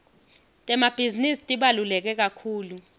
temabhizinisi tibaluleke kakhulu